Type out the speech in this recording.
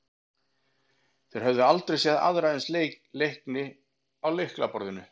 Þeir höfðu aldrei séð aðra eins leikni á lyklaborðinu.